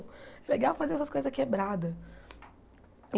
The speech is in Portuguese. É legal fazer essas coisas quebradas.